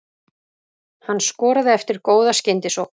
Hann skoraði eftir góða skyndisókn.